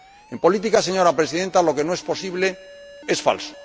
En política, señora Presidenta, lo que no es posible es falso.